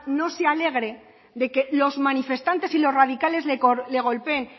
no se alegre de que los manifestantes y los radicales le golpeen